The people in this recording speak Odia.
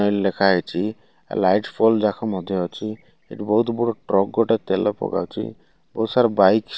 ଲେଖା ହେଇଚି ଆ ଲାଇଟି ଫୋଲଡ ଯାକ ମଧ୍ୟ ଅଛି ଏଠି ବୋହୁତ ବୋହୁତ ଟ୍ରକ ଗୋଟେ ତେଲ ପକାଉଛି ବୋହୁତ ସାରା ବାଇକ୍ --